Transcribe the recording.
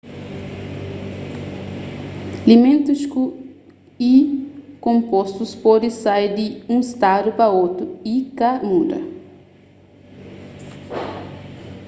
ilimentus y konpostus pode sai di un stadu pa otu y ka muda